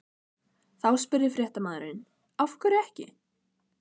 Þá spurði fréttamaður: Af hverju ekki?